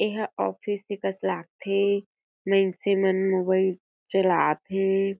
ये ह ऑफिस के कस लागथे मइनसे मन मोबाइल चलाथे।